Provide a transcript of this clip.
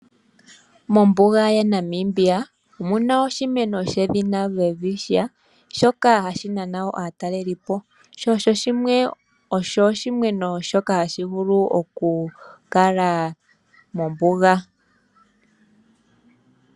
Mombuga yaNamibia omu na oshimeno shedhina Welwitchia shoka hashi nana wo aatalelipo, sho osho oshimeno shoka hashi vulu okukala mombuga.